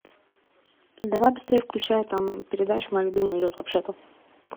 давай быстрее включай там передача моя любимая идет вообще то